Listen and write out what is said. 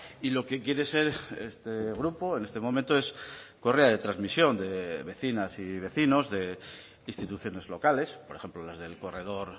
y lo que quiere ser este grupo en este momento es correa de transmisión de vecinas y vecinos de instituciones locales por ejemplo las del corredor